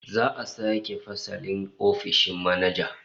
Za'a sake fasalin ofishin manaja